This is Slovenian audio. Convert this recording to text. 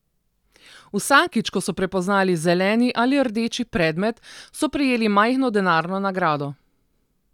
Vsakič, ko so prepoznali zeleni ali rdeči predmet, so prejeli majhno denarno nagrado.